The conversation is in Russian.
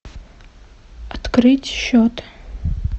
открыть счет